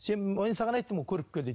саған айттым ғой көріп кел дейді